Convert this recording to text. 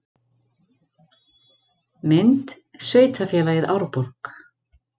Mynd: Sveitarfélagið Árborg